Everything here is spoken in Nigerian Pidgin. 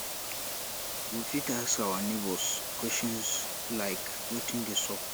we fit ask our neigbours question like wetin de sup